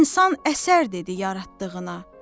İnsan əsər dedi yaratdığına.